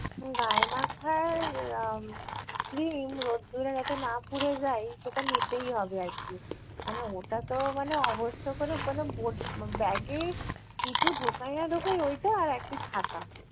গায়ে মাখার আহ cream রোদ্দুরে যাতে না পুড়ে যাই সেটা নিতেই হবে আর কী। মানে ওটা তো মানে অবশ্য করে মানে bag এ কিছু ঢোকাই না ঢোকাই ওইটা আর একটি ছাতা